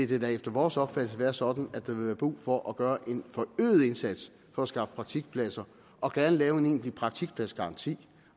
da efter vores opfattelse vil være sådan at der vil være brug for at gøre en forøget indsats for at skaffe praktikpladser og gerne lave en egentlig praktikpladsgaranti